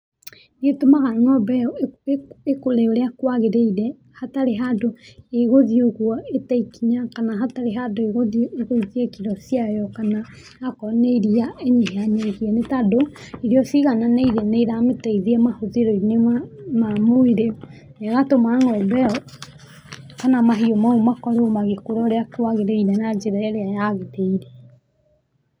Nĩ ũtũmaga ngo'mbe ĩyo ĩkũre ũrĩa kwagĩrĩire, hatarĩ handũ ĩgũthiĩ ũguo ĩte ĩkinya kana hatarĩ handũ ĩguthiĩ ĩgũithie kiro ciayo, kana akorwo nĩ iria ĩnyihanyihie, nĩ tondũ irio cigananĩirie nĩ ĩramĩteithia mahũthĩro-ĩnĩ ma mwĩrĩ na ĩgatũma ng'ombe ĩyo kana mahiũ mau makorwo magĩkũra ũrĩa kũagĩrĩire na njĩra ĩrĩa yagĩrĩire.